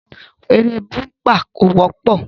Eré búḿpà kò wọ́pọ̀